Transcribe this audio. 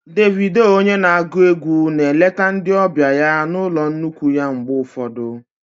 Davido onye na-agụ egwu na-eleta ndị ọbịa ya na ụlọ nnukwu ya mgbe ụfọdụ